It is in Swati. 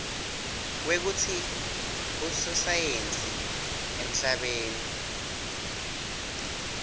kwekutsi bososayensi emhlabeni